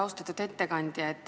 Austatud ettekandja!